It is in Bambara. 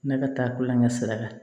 Ne ka taa ko la n ka sira kan